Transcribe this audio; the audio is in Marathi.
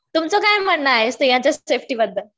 तुमचं काय म्हणणं आहे स्त्रीयांच्या सेफ्टीबद्दल?